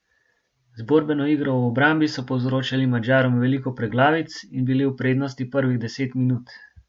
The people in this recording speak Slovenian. Z borbeno igro v obrambi so povzročali Madžarom veliko preglavic in bili v prednosti prvih deset minut.